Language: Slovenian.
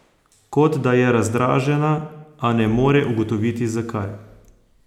Kot da je razdražena, a ne more ugotoviti, zakaj.